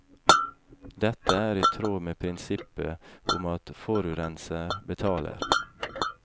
Dette er i tråd med prinsippet om at forurenser betaler.